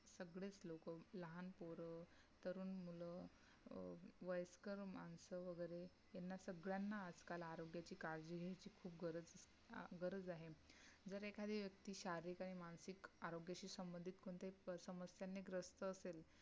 वयस्कर मानसं वगेरे, त्यांना सगळंना आजकाल आरोग्याची काळजी घ्यायची गरज खुप अह गरज आहे. जर एखादी व्यक्ति शारीरिक आणि मानसिक अरोग्याशी सम्बंधित कोणत्याही समस्या ने ग्रस्त असल,